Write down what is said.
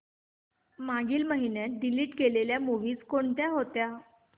मागील महिन्यात डिलीट केलेल्या मूवीझ कोणत्या होत्या